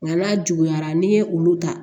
Nka n'a juguyara n'i ye olu ta